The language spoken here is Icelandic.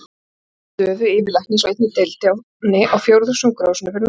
Svo fékk hann stöðu yfirlæknis á einni deildinni á Fjórðungssjúkrahúsinu fyrir norðan.